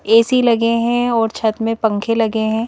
AC लगे हैं और छत में पंखे लगे हैं।